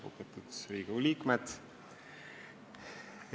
Lugupeetud Riigikogu liikmed!